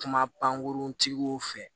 Kuma pankurun tigiw fɛ